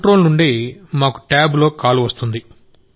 control నుండి మాకు టాబ్లో కాల్ వస్తుంది